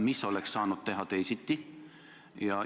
Mida oleks saanud teha teisiti?